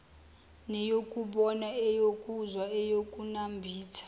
neyokubona eyokuzwa eyokunambitha